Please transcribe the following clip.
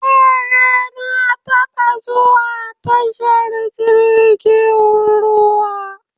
Eh, na taɓa zuwa tashar jirgin ruwa